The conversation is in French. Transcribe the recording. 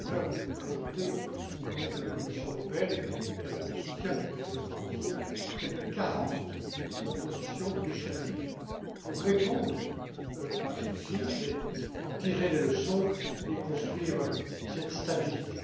J'ai eu l'honneur de vous présenter, au nom de la Commission européenne, et avec le soutien du Président Barroso, près de 40propositions législatives pour répondre à cette crise, en tirer les leçons et construire cette stabilité.